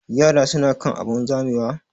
Yaran su na kan abun zamewa?